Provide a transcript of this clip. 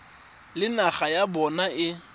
le naga ya bona e